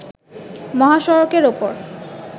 মহাসড়কের ওপর